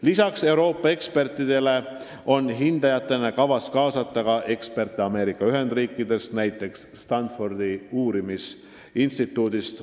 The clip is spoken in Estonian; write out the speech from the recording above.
Lisaks Euroopa ekspertidele on hindajatena kavas kaasata eksperte Ameerika Ühendriikidest, näiteks Stanfordi uurimisinstituudist.